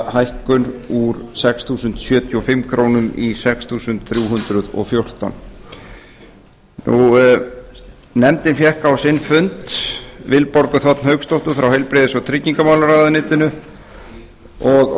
hækkun úr sex þúsund sjötíu og fimm krónur í sex þúsund þrjú hundruð og fjórtán nefndin fékk á sinn fund vilborgu þ hauksdóttur frá heilbrigðis og tryggingamálaráðuneyti og